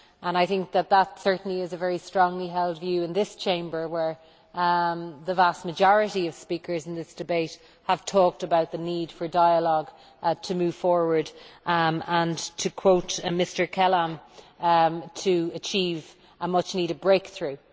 I think that this certainly is a strongly held view in this Chamber, where the vast majority of speakers in this debate have talked about the need for dialogue to move forward and, to quote Mr Kelam, to achieve a much needed breakthrough'.